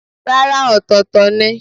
Rárá, ọ̀tọ̀ọ̀tọ̀ ni.